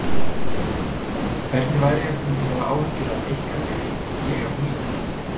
Hvernig væri ef þið mynduð hafa áhyggjur af ykkar liði og ég af mínu?